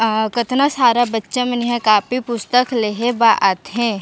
आ कतना सारा बच्चा मन एहा कॉपी पुस्तक लेहे बा आथे --